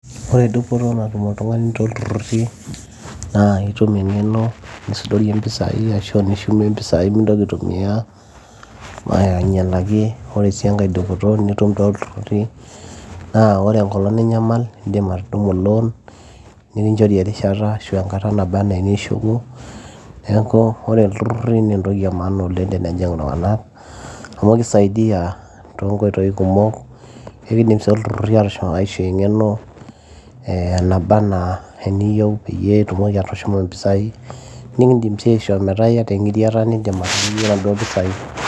ore dupoto natum oltung'ani tolturruri naa itum eng'eno nisudorie impisai ashu nishumie mpisai mintoki aitumia ainyialaki ore sii enkae dupoto nitum tolturruri naa ore enkolong ninyamal naa indim atudumu loan nikinchori erishata ashu enkata naba anaa enishuku neeku ore ilturruri naa entokin e maana oleng tenejing iltung'anak amu kisaidia toonkoitoi kumok ekindim sii ilturruri aishoo eng'eno eh, enaba enaa eniyieu peyie itumoki atushuma mpisai nikindim sii aisho metaa iyata eng'iriata nindim ataanyunyie naduo pisai.